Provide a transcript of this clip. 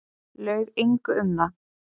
Laug engu um það.